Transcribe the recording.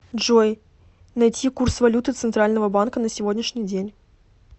джой найти курс валюты центрального банка на сегодняшний день